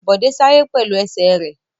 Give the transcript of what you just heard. Bọ̀dé sáré pẹ̀lú ẹsẹ̀ rẹ̀.